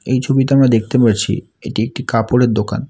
এই ছবিতে আমরা দেখতে পারছি এটি একটি কাপড়ের দোকান।